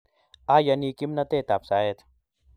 Ayani kimnatet ap saet